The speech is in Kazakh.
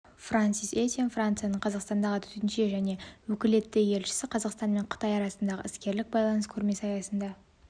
франсис етьен францияның қазақстандағы төтенше және өкілетті елшісі қазақстан мен қытай арасындағы іскерлік байланыс көрмесі аясында